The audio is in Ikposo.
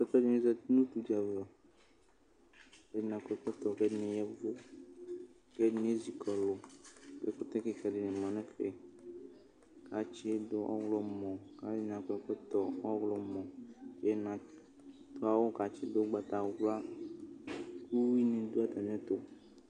Apɛtɔ dɩnɩ zati nʋ utu dɩ ava Ɛdɩnɩ akɔ ɛkɔtɔ kʋ ɛdɩnɩ ya ɛvʋ kʋ ɛdɩnɩ ezi kɔlʋ Ɛkʋtɛ kɩka dɩ ma ɛfɛ kʋ atsɩdʋ nʋ ɔɣlɔmɔ kʋ alʋɛdɩnɩ akɔ ɛkɔtɔ ɔɣlɔmɔ Ɛdɩnɩ adʋ awʋ kʋ atsɩdʋ ʋgbatawla kʋ uyuinɩ dʋ atamɩɛtʋ